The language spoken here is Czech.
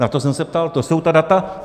Na to jsem se ptal, to jsou ta data.